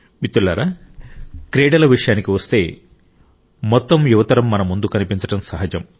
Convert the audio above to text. మిత్రులారా క్రీడల విషయానికి వస్తే మొత్తం యువ తరం మన ముందు కనిపించడం సహజం